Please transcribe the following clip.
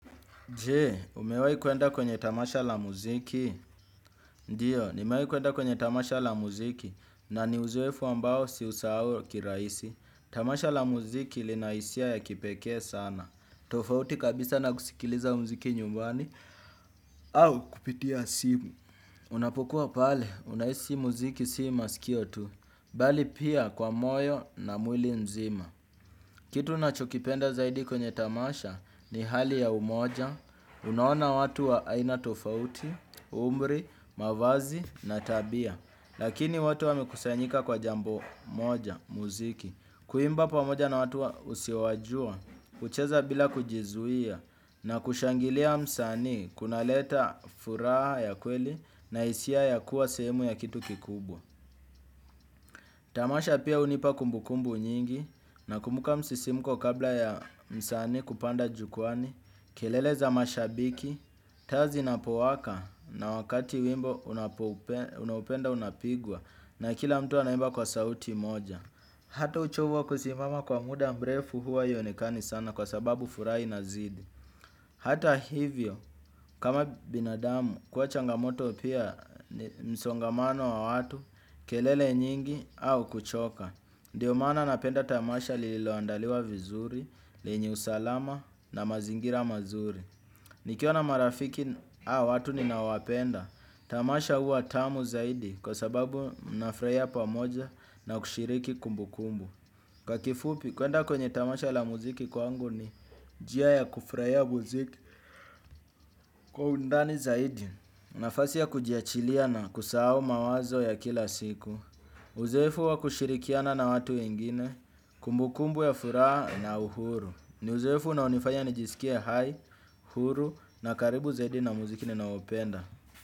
Je? Umewahi kwenda kwenye tamasha la muziki? Ndiyo, nimewahi kwenda kwenye tamasha la muziki, na ni uzeefu ambao si usahau kirahisi. Tamasha la muziki lina hisia ya kipekee sana. Tofauti kabisa na kusikiliza muziki nyumbani, au kupitia simu. Unapokua pale, unahisi muziki si masikio tu, bali pia kwa moyo na mwili nzima. Kitu unachokipenda zaidi kwenye tamasha ni hali ya umoja. Unaona watu wa aina tofauti, umri, mavazi na tabia. Lakini wote wamekusanyika kwa jambo moja, muziki. Kuimba pamoja na watu usiowajua kucheza bila kujizuia na kushangilia msanii kunaleta furaha ya kweli na hisia ya kuwa sehemu ya kitu kikubwa. Tamasha pia unipa kumbukumbu nyingi. Nakumbuka msisimko kabla ya msanii kupanda jukwaani. Kelele za mashabiki, taa zinapowaka na wakati wimbo unaopenda unapigwa na kila mtu anaimba kwa sauti moja. Hata uchovuwa kusimama kwa muda mrefu huwa haionekani sana kwa sababu furaha inazidi. Hata hivyo kama binadamu kuwa changamoto pia msongamano wa watu kelele nyingi au kuchoka. Ndiyo maana napenda tamasha lililoandaliwa vizuri, lenye usalama na mazingira mazuri nikiona marafiki, au watu ninawapenda tamasha huwa tamu zaidi kwa sababu mna furahia pamoja na kushiriki kumbu kumbu. Kwa kifupi, kwenda kwenye tamasha la muziki kwangu ni njia ya kufurahia muziki kwa undani zaidi nafasi ya kujiachilia na kusahau mawazo ya kila siku. Uzoefu wa kushirikiana na watu wengine, kumbukumbu ya furaha na uhuru. Ni uzoefu na unaofanya nijisikie hai, huru na karibu zaidi na muziki ninaopenda.